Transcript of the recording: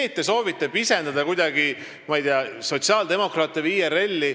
Te soovite kuidagi pisendada sotsiaaldemokraate või IRL-i.